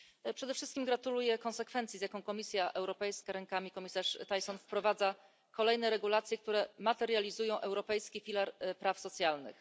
Przede wszystkim gratuluję konsekwencji, z jaką Komisja Europejska, za sprawą komisarz Thyssen, wprowadza kolejne regulacje, które materializują Europejski filar praw socjalnych.